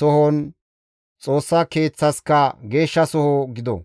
sohonne Xoossa Keeththaska geeshshasoho gido.